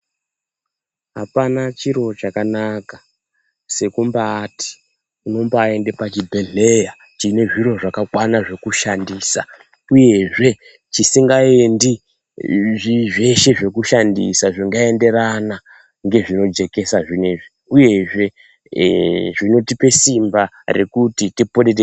Apana chiro chakanaka seku mbaiti unombai ende pa chibhedhleya chine zviro zvaka kwana zveku shandisa uyezve chisinga endi zveshe zveku shandisa zvinga enderana nge zvino jekesa zvinezvi uyezve zvinotipe simba rekuti tiponere.